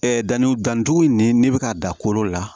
danni dannidugu nin n'i bɛ ka da kolo la